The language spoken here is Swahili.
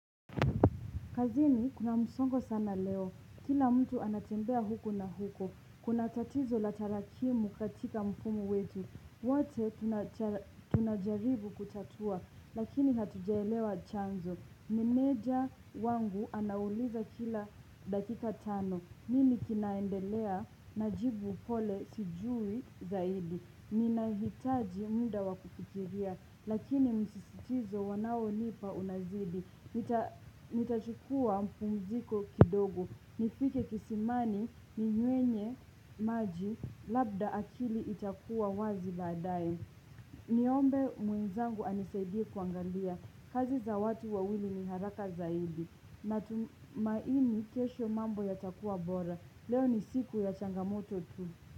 Kazini, kuna msongo sana leo. Kila mtu anatembea huku na huko. Kuna tatizo la tarakimu katika mfumo wetu. Wote tunajaribu kutatua, lakini hatujaelewa chanzo. Meneja wangu anauliza kila dakika tano. Nini kinaendelea, najibu pole sijui zaidi. Ninahitaji muda wa kufikiria, lakini msisitizo wanaonipa unazidi Nitachukua mapumziko kidogo, nifike kisimani ninywe maji, labda akili itakuwa wazi baadaye Niombe mwenzangu anisaidie kuangalia, kazi za watu wawili ni haraka zaidi. Natumaini kesho mambo yatakuwa bora, leo ni siku ya changamoto tu.